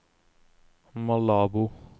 Malabo